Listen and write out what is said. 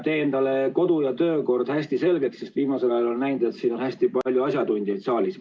Tee endale kodu- ja töökord hästi selgeks, sest viimasel ajal olen näinud, et siin saalis on hästi palju asjatundjaid.